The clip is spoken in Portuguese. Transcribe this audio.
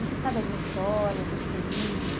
Você sabe alguma história desse período?